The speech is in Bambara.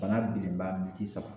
Bana bilenba sisan